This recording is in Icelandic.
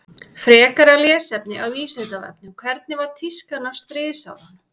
Frekara lesefni á Vísindavefnum Hvernig var tískan á stríðsárunum?